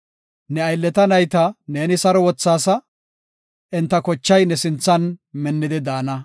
Ne aylleta nayta neeni saro wothaasa; enta kochay ne sinthan minnidi daana.